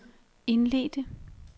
indledte